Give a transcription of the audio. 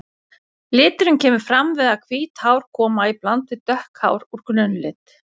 Liturinn kemur fram við að hvít hár koma í bland við dökk hár úr grunnlit.